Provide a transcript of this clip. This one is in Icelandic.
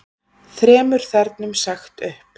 Þremur þernum sagt upp